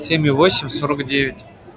семь у восемь сорок девять